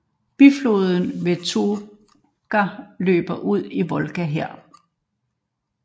Bifloden Vetluga løber ud i Volga her